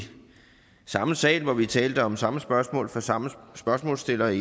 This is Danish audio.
samme sal hvor vi talte om samme spørgsmål fra samme spørgsmålsstiller